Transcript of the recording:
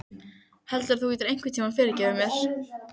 Heldurðu að þú getir einhvern tíma fyrirgefið mér?